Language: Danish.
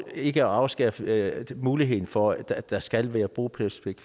ikke at afskaffe muligheden for at der skal være bopælspligt